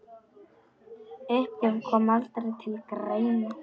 Uppgjöf kom aldrei til greina.